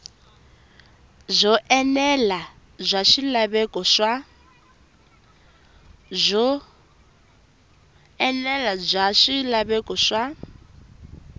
byo enela bya swilaveko swa